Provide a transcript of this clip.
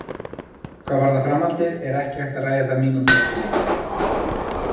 Hvað varðar framhaldið er ekki hægt að ræða það mínútu eftir leik.